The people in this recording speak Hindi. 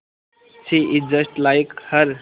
she is just like her